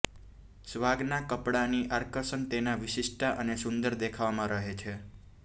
સ્વાગના કપડાંની આકર્ષણ તેના વિશિષ્ટતા અને સુંદર દેખાવમાં રહે છે